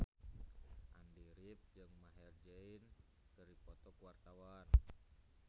Andy rif jeung Maher Zein keur dipoto ku wartawan